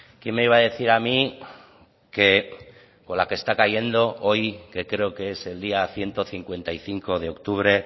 quién me iba a decir a mí que con la que está cayendo hoy que creo que es el día ciento cincuenta y cinco de octubre